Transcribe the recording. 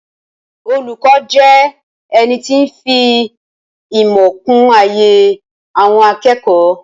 Olùkọ́ jẹ́ ẹnití ń fi ìmọ̀ kún ayé àwọn akẹ́kọ̀ọ́